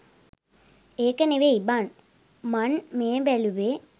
ඒක නෙවෙයි බන් මන් මේ බැලුවේ